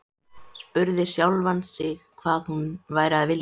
Spurði sjálfan sig hvað hún væri að vilja.